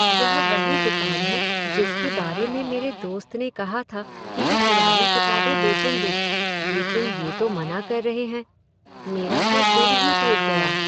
यह वही दुकान है जिसके बारे में मेरे दोस्त ने कहा था कि वे पुरानी किताबें बेचेंगे, लेकिन ये तो मना कर रहे हैं। मेरा तो दिल ही टूट गया।